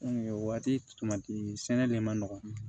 o waati sɛnɛ de ma nɔgɔn